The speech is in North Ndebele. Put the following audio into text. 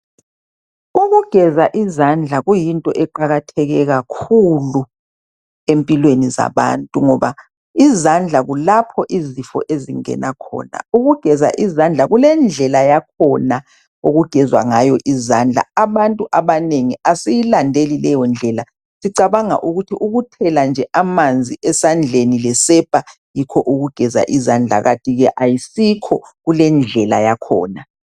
Ukugeza izandla kuyinto eqakatheke kakhulu empilweni zabantu ngoba izandla kulapho izifo ezingena khona. Ukugeza izandla kulendlela yakhona okugezwa ngayo izandla abantu abanengi asiyilandeli leyo ndlela sicabanga ukuthi ukuthela nje amanzi esandleni lesepa yikho ukugeza izandla kantike ayisikho kulendlela yakhona